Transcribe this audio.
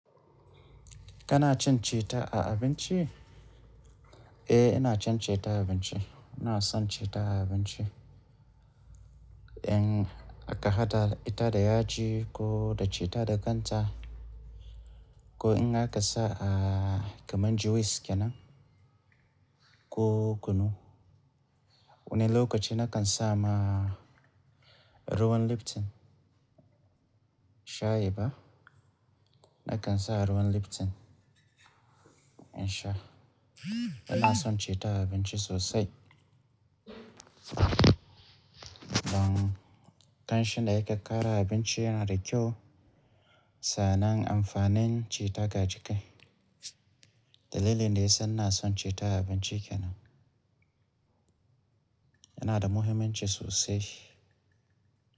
Kana cin citta a abinci? Eh, ina cin citta a abinci. Ina son citta a abinci. In aka hada ita da yaji ko da citta da kan ta, ko in aka sa a kamar juice kenan ko kunu. Wani lokaci na kan sa ma ruwan Lipton shayi ba, na kan sa ruwan Lipton in sha. Ina son citta a abinci sosai. Don ƙanshin da yake ƙara a abinci yana da kyau sannan amfanin citta ga jiki. Dalilin da ya sa ina son citta a abinci kenan. Yana da muhimmanci sosai.